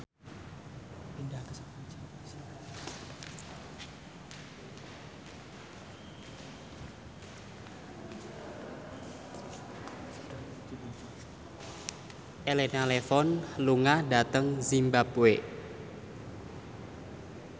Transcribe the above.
Elena Levon lunga dhateng zimbabwe